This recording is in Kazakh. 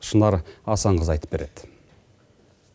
шынар асанқызы айтып береді